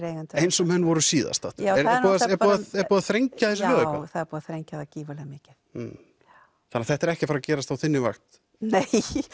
eigendur eins og menn voru síðast aftur er búið að þrengja þessi lög eitthvað já það er búið að þrengja það gífurlega mikið þannig þetta er ekki að fara að gerast á þinni vakt nei